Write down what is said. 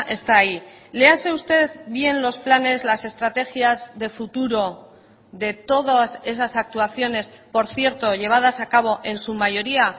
está ahí léase usted bien los planes las estrategias de futuro de todas esas actuaciones por cierto llevadas a cabo en su mayoría